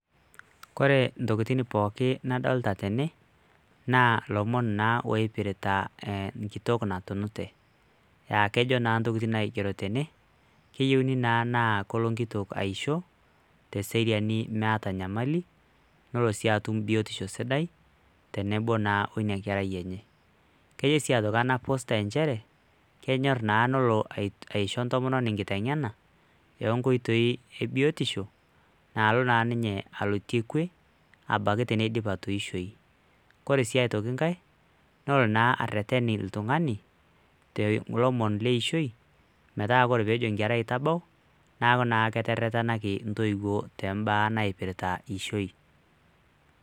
Kore ntokiting pookin nadolta tene, naa lomon naa loipirta nkitok natunute. Ah kejo naa ntokiting naigero tene, keyieuni naa na kolo nkitok aisho teseriani meeta nyamali, nolo si atum biotisho sidai, tenebo naa inakerai enye. Kejo si ana poster njere, kenyor naa nolo aisho ntomononi nkiteng'ena, onkoitoi ebiotisho, naalo na ninye alotie kwe, abaiki teneidip atoishoyu. Kore si aitoki nkae, nolo naa arrerren iltung'ani, te lomon leishoi, metaa ore pejo nkerai tabau, naku naa keterrerrenaki ntoiwuo tombaa naipirta ishoi.